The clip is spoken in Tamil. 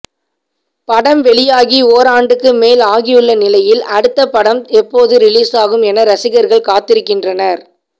படம் வெளியாகி ஓராண்டுக்கு மேல் ஆகியுள்ள நிலையில் அடுத்த படம் எப்போது ரிலீஸாகும் என ரசிகர்கள் காத்திருக்கின்றனர்